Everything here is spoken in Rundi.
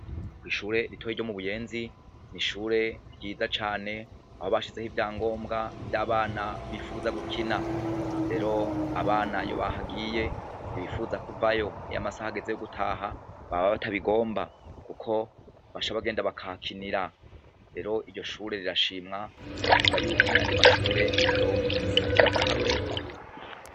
Ko'ishure ritoye ryo mu buyenzi ni ishure ryiza cane aho bashizeho ivya ngombwa vy'abana bifuza gukina rero abana yo bahagiye ntobifuza kuvayo niyo amasaha ageze yo gutaha baba batabigomba, kuko basha abagenda bakakinira rero iryo shure rirashimwa bakavuga yuko nayandi mashure yo nrifatirako akarorero.